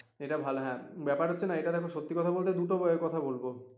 এটা ভালো হ্যাঁ ব্যাপার হচ্ছে এটা দেখো সত্যি কথা বলতে দুটো কথা বলবো